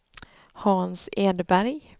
Hans Edberg